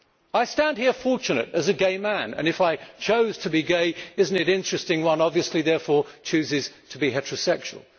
I stand here fortunate, as a gay man and if I chose to be gay, is it not interesting that one obviously therefore chooses to be heterosexual?